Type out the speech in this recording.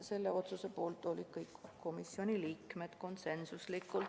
Selle otsuse poolt olid kõik komisjoni liikmed.